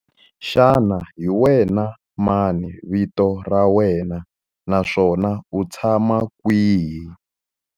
Xana hi wena mani vito ra wena naswona u tshama kwihi?